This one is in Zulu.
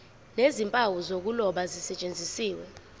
nezimpawu zokuloba zisetshenziswe